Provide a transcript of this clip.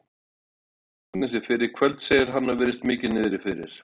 Ég sá Agnesi fyrr í kvöld, segir hann og virðist mikið niðri fyrir.